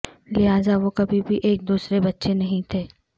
لہذا وہ کبھی بھی ایک دوسرے بچے نہیں تھے